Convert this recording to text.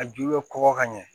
A ju bɛ kɔgɔ ka ɲɛ